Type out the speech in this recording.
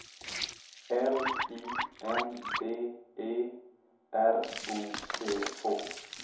L I N D E R O T H